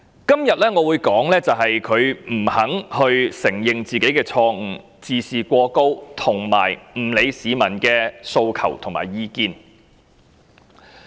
今天我會說句，他不肯承認自己的錯誤，自視過高，以及不理會市民的訴求和意見。